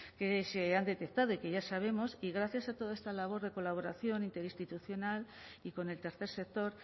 que se han detectado y que ya sabemos y gracias a toda esta labor de colaboración interinstitucional y con el tercer sector